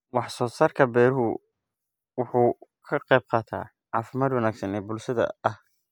Wax-soo-saarka beeruhu wuxuu ka qaybqaataa caafimaad wanaagsan oo bulshada ah.